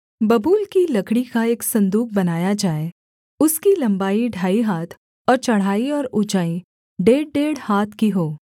बबूल की लकड़ी का एक सन्दूक बनाया जाए उसकी लम्बाई ढाई हाथ और चौड़ाई और ऊँचाई डेढ़डेढ़ हाथ की हो